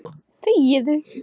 Elsa Rún.